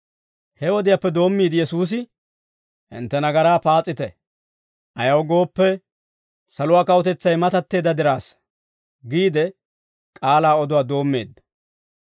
He wodiyaappe doommiide Yesuusi, «Hintte nagaraa paas'ite; ayaw gooppe, saluwaa kawutetsay matatteedda diraassa» giide k'aalaa oduwaa doommeedda.